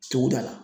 Suguda la